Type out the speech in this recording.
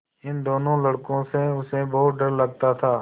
इन दोनों लड़कों से उसे बहुत डर लगता था